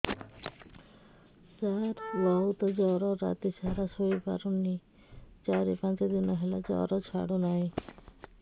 ସାର ବହୁତ ଜର ରାତି ସାରା ଶୋଇପାରୁନି ଚାରି ପାଞ୍ଚ ଦିନ ହେଲା ଜର ଛାଡ଼ୁ ନାହିଁ